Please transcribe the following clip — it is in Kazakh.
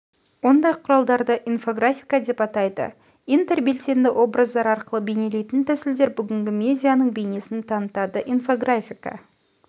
ондай құралдарды инфографика деп атайды интербелсенді образдар арқылы бейнелейтін тәсілдер бүгінгі медианың бе йнесін танытады инфографика